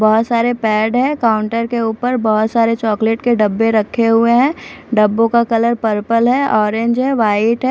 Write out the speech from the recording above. बहुत सारे पेड़ है काउंटर के ऊपर बहुत सारे चॉकलेट के डब्बे रखे हुए है डब्बो का कलर पर्पल है ऑरेंज है व्हाइट है।